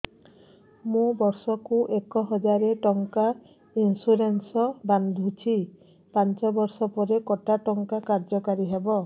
ମୁ ବର୍ଷ କୁ ଏକ ହଜାରେ ଟଙ୍କା ଇନ୍ସୁରେନ୍ସ ବାନ୍ଧୁଛି ପାଞ୍ଚ ବର୍ଷ ପରେ କଟା ଟଙ୍କା କାର୍ଯ୍ୟ କାରି ହେବ